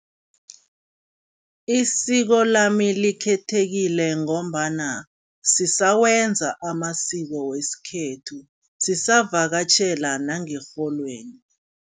Isiko lami likhethekile ngombana sisawenza amasiko wesikhethu, sisavakatjhela nangerholweni.